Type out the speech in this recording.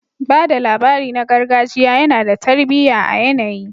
Ba da labari na gargajiya yana da tarbiyya a yanayi